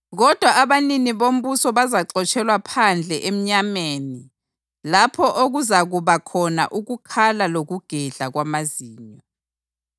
Kodwa abanini bombuso bazaxotshelwa phandle emnyameni lapho okuzakuba khona ukukhala lokugedla kwamazinyo.”